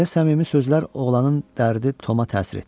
Belə səmimi sözlər oğlanın dərdi Toma təsir etdi.